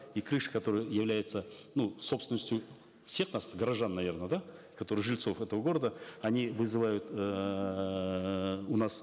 и крыши которые являются ну собственностью всех нас горожан наверно да которые жильцов этого города они вызывают эээ у нас